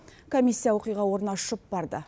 комиссия оқиға орнына ұшып барды